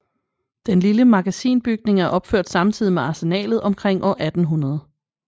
Den lille magasinbygning er opført samtidig med Arsenalet omkring år 1800